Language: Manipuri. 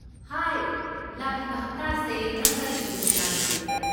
ꯍꯥꯏ, ꯂꯥꯛꯂꯤꯕ ꯍꯞꯇꯥꯁꯦ ꯅꯪ ꯀꯔꯤ ꯀꯔꯤ ꯄ꯭ꯂꯥꯟ ꯂꯩꯒꯦ?